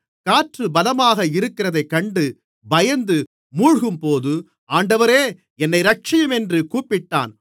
காற்று பலமாக இருக்கிறதைக் கண்டு பயந்து மூழ்கும்போது ஆண்டவரே என்னை இரட்சியும் என்று கூப்பிட்டான்